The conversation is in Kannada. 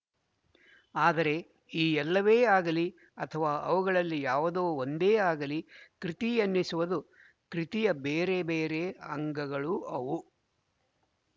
ಆದರೆ ಈ ಎಲ್ಲವೇ ಆಗಲಿ ಅಥವಾ ಅವುಗಳಲ್ಲಿ ಯಾವುದೋ ಒಂದೇ ಆಗಲಿ ಕೃತಿ ಎನ್ನಿಸದು ಕೃತಿಯ ಬೇರೆ ಬೇರೆ ಅಂಗಗಳು ಅವು